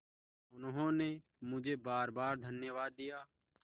उन्होंने मुझे बारबार धन्यवाद दिया